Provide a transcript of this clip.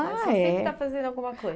Ah, é. Você sempre está fazendo alguma coisa.